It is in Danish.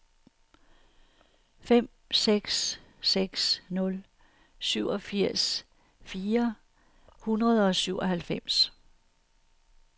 fem seks seks nul syvogfirs fire hundrede og syvoghalvfems